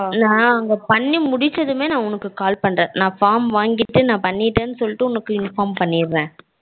நா பண்ணி முடிச்சதுமே நா உனக்கு call பண்றேன் நா form வாங்கிட்டு நா பண்ணிட்டேனு சொல்லிட்டு உனக்கு inform பண்ணிறேன்